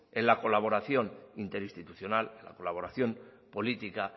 en la colaboración inter institucional en la colaboración política